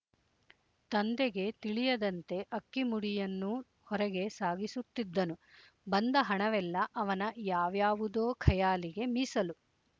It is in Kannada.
ತಂದೆಗೆ ತಿಳಿಯದಂತೆ ಅಕ್ಕಿ ಮುಡಿಯನ್ನೂ ಹೊರಗೆ ಸಾಗಿಸುತ್ತಿದ್ದನು ಬಂದ ಹಣವೆಲ್ಲ ಅವನ ಯಾವ್ಯಾವುದೊ ಖಯಾಲಿಗೆ ಮೀಸಲು